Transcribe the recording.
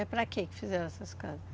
É para quê que fizeram essas casas?